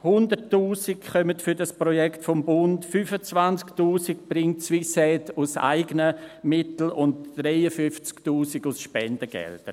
100’000 Franken kommen für dieses Projekt vom Bund, 25’000 Franken bringt Swissaid aus eigenen Mitteln und 53’000 Franken aus Spendengeldern.